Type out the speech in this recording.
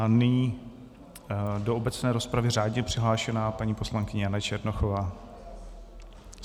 A nyní do obecné rozpravy řádně přihlášená paní poslankyně Jana Černochová.